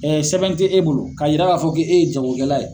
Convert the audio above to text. sɛbn tɛ e bolo k'a jira b'a fɔ k' e ye jagokɛla ye.